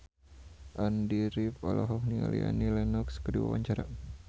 Andy rif olohok ningali Annie Lenox keur diwawancara